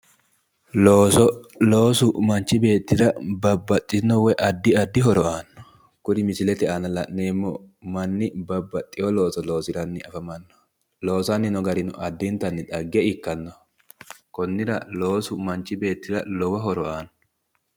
Looso. Loosu manichi beetira babbaxitino woyi addi addi horo aano kuri misilete aana lee'neemo manni babbaxewo looso loosayi afamanno loosawo loosi addinitanni dhagge ikkanoho konnira loosu manichi beetira lowo horo aano